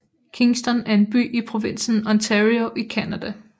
Kingston er en by i provinsen Ontario i Canada